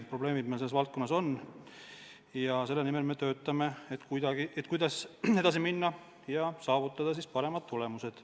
Probleemid meil selles valdkonnas on ja selle nimel me töötame, et edasi minna ja saavutada paremad tulemused.